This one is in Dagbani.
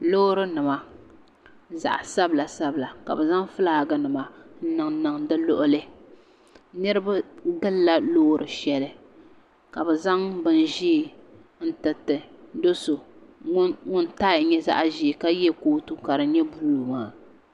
lorinima zaɣ' sabililasabilila ka bɛ niŋ ƒɔlagi nim niŋ di liɣili niriba gula lori shɛli la bɛ zaŋ bɛ ʒiɛ n tɛritɛ do so ŋɔ kala nyɛ zaɣ' ʒiɛ ka ba moto ka di nyɛ bulu maa